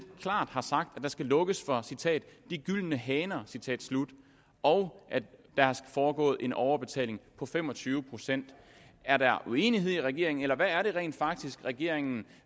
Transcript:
klart har sagt at der skal lukkes for citat de gyldne haner og at der er foregået en overbetaling på fem og tyve procent er der uenighed i regeringen eller hvad er det rent faktisk regeringen